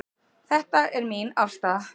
Þetta er mín afstaða.